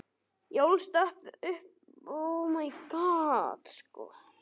Ég ólst upp við átök um vín.